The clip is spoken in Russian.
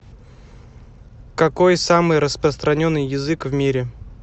какой самый распространенный язык в мире